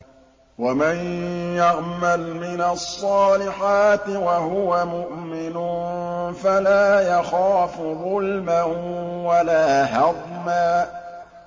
وَمَن يَعْمَلْ مِنَ الصَّالِحَاتِ وَهُوَ مُؤْمِنٌ فَلَا يَخَافُ ظُلْمًا وَلَا هَضْمًا